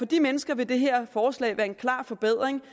de mennesker vil det her forslag være en klar forbedring